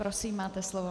Prosím, máte slovo.